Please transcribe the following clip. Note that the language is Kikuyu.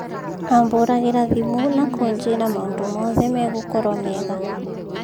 Ambūragira thimū na kūjĩra maūndū mothe megūkorwa mega.